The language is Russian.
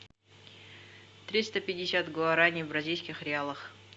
триста пятьдесят гуарани в бразильских реалах